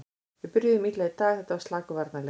Við byrjuðum illa í dag, þetta var slakur varnarleikur.